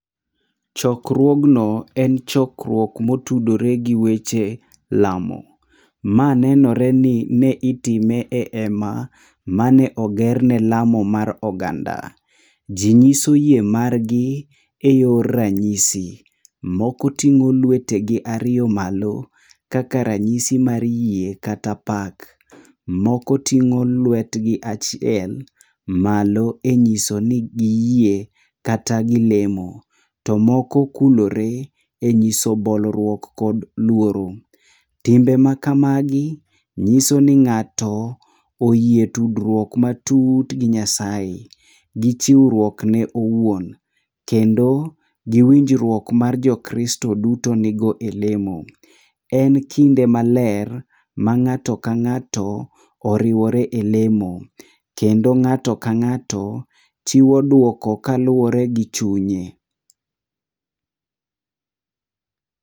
Chokruogno en chokruok motudore gi weche lamo. Ma nenore ni ne itime e ema mane oger ne lamo mar oganda. Ji nyiso yie margi e yor ranyisi. Moko ting'o lwetegi ariyo malo, kaka ranyisi mar yie kata pak. Moko ting'o lwetgi achiel malo e nyiso ni giyie kata gilemo. To moko kulore, e nyiso bolruok kod luoro. Timbe makamagi nyiso ni ng'ato oyie tudruok matut gi Nyasaye gi chiwruok ne owuon. Kendo gi winjruok mar jo Kristo duto nigo e lemo. En kinde maler, ma ng'ato ka ng'ato, oriwore e lemo kendo ng'ato ka ng'ato, chiwo duoko kaluwore gi chunye.